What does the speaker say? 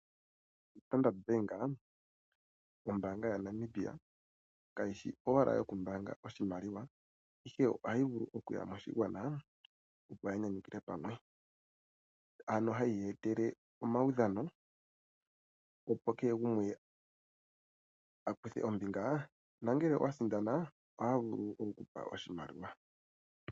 Standard Bank ombaanga yaNamibia kayi shi owala yokumbaanga oshimaliwa ihe ohayi vulu okuya moshigwana ya opo nyanyukilwe pamwe ano hayi eta omaudhano opo kehe gumwe a kuthe ombinga nongele owa sindana ohaya vulu okukupa oshimaliwa.